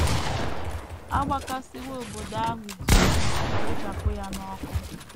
A gbakasịwo obodo ahụ dum ma rechapụ ya n’ọkụ.